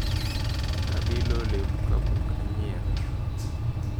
Nabilo olemo kapok anyiewe.